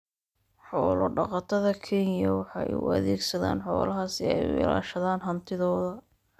Xoolo-dhaqatada Kenya waxay u adeegsadaan xoolaha si ay u ilaashadaan hantidooda.